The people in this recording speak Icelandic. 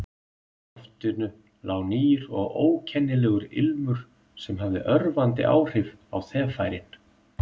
Í loftinu lá nýr og ókennilegur ilmur sem hafði örvandi áhrif á þeffærin.